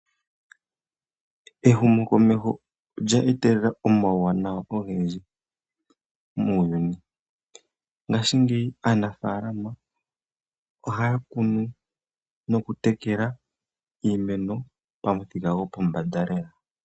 Ehumokomeho olya etelela omauwanawa ogendji muuyuni. Ngashingeyi aanafaalama ohaya kunu nokutekela iimeno pamuthika gwopombanda lela.